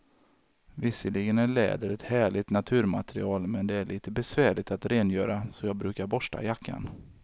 Visserligen är läder ett härligt naturmaterial, men det är lite besvärligt att rengöra, så jag brukar borsta jackan.